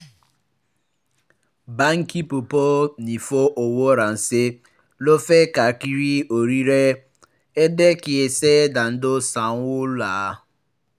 báńkì púpọ̀ ń fi owó ránṣẹ́ lọ́fẹ̀ẹ́ káàkiri orílẹ̀-èdè kì í ṣe dandan san owó ńlá